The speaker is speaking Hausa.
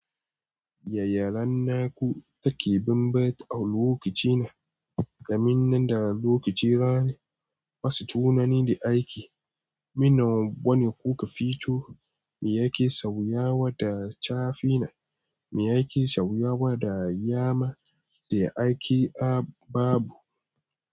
Yaya ranaku take banbatu a lokacina kaminnan de lokaci rani basu tunani de aiki Minnan wane kuka fito, me yake sauyawa da chafi na, me yake sauyawa da yama, de aiki a babu.